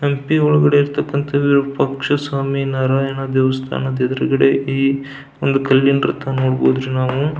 ಹಂಪಿ ಒಳಗಡೆ ಇರ್ತಕ್ಕಂಥ ವಿರೂಪಾಕ್ಷ ಸ್ವಾಮಿ ನಾರಾಯಣ ದೇವಸ್ಥಾನದ ಎದುರುಗಡೆ ಈ ಒಂದ ಕಲ್ಲಿನ ರಥ ನೋಡಬಹುದು ನಾವು.